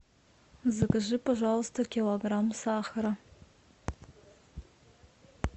закажи пожалуйста килограмм сахара